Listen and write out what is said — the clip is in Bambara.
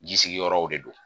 Jisigiyɔrɔw de don